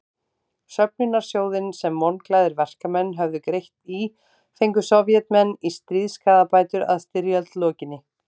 Söfnunarsjóðinn sem vonglaðir verkamenn höfðu greitt í fengu Sovétmenn í stríðsskaðabætur að styrjöld lokinni.